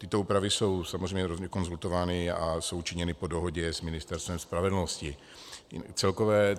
Tyto úpravy jsou samozřejmě konzultovány a jsou činěny po dohodě s Ministerstvem spravedlnosti.